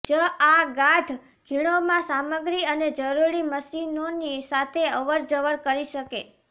જ આ ગાઢ ખીણોમાં સામગ્રી અને જરૂરી મશીનોની સાથે અવરજવર કરી શકે